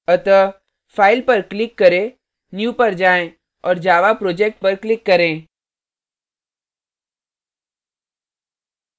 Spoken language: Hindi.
अतः file पर click करें new पर जाएँ और java project पर click करें